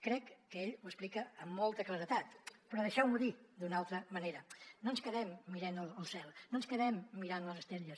crec que ell ho explica amb molta claredat però deixeu m’ho dir d’una altra manera no ens quedem mirant el cel no ens quedem mirant les estrelles